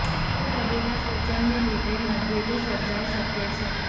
કોઈ વડીલ ના સૂચન ને લીધે મતભેદો સર્જાય શકે છે